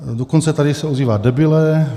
Dokonce se tady ozývá "debile".